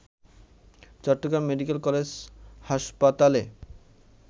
Chittagong medical college হাসপাতালে